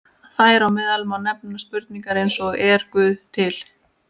Þar á meðal má nefna spurningar eins og Er Guð til?